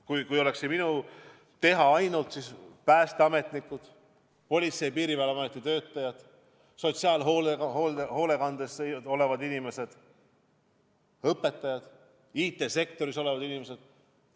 Kui see oleks ainult minu teha, siis saaksid kõrgemat palka päästeametnikud, Politsei- ja Piirivalveameti töötajad, sotsiaalhoolekandes töötavad inimesed, õpetajad, IT-sektoris olevad inimesed.